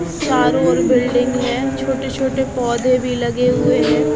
चारों ओर बिल्डिंग हैं छोटे छोटे पौधे भी लगे हुएं हैं।